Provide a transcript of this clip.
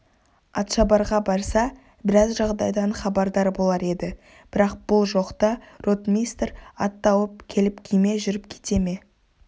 атшабарға барса біраз жағдайдан хабардар болар еді бірақ бұл жоқта ротмистр ат тауып келіп күйме жүріп кете ме